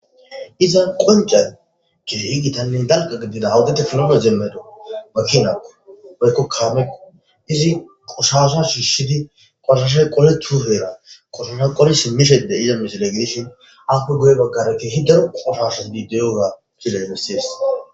Izan qoncay keei gitannin darqa gidida awudete pilomeo jemmedo ba chinakko woykko kaameko izi qushasha shiishidi qoshashay qole tuuheera qoshosha qole simmisheide iyamisile gidishin appe goye baggareti hidaro qoshasho dideyoga kilebessies.